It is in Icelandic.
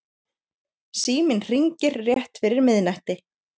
Síminn hringir rétt fyrir miðnætti.